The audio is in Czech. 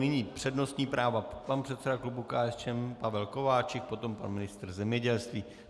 Nyní předností práva: pan předseda klubu KSČM Pavel Kováčik, potom pan ministr zemědělství.